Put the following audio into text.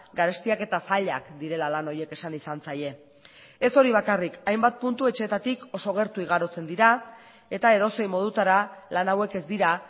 garestiak eta zailak direla lan horiek esan izan zaie ez hori bakarrik hainbat puntu etxeetatik oso gertu igarotzen dira eta edozein modutara lan hauek ez dira